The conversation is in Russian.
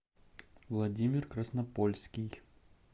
владимир краснопольский